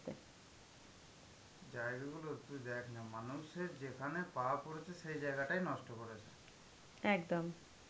জায়গাগুলো তুই দেখ না, মানুষের যেখানে পাওয়া পড়েছে সেই জায়গাটাই নষ্ট করেছে.